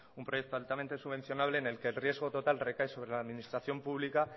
un proyecto altamente subvencionable en el que el riesgo total recae sobre la administración pública